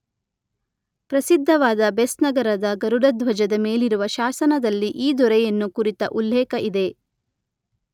ಪ್ರಸಿದ್ಧವಾದ ಬೆಸ್ನಗರದ ಗರುಡಧ್ವಜ ದ ಮೇಲಿರುವ ಶಾಸನದಲ್ಲಿ ಈ ದೊರೆಯನ್ನು ಕುರಿತ ಉಲ್ಲೇಖ ಇದೆ.